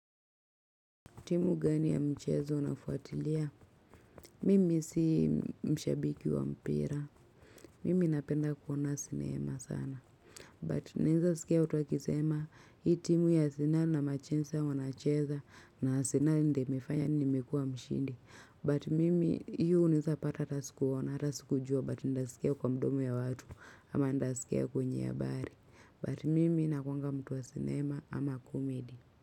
Timu gani ya mchezo unafuatilia? Mimi si mshabiki wa mpira. Mimi napenda kuona sinema sana. But naeza sikia watu wakisema hii timu ya Arsenali na machensa wanacheza na asenali ndio imefanya nini imekua mshindi. But mimi hiyo unaesapata ata sikuona atasikujua but ndaskia kwa mdomo ya watu ama ndasikia kwenye habari. But mimi nakuanga mtu wa sinema ama comedy.